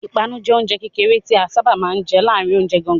Ìpanu jẹ oúnjẹ kékeré tí a sáábà máa ń jẹ láàárin oúnjẹ gangan.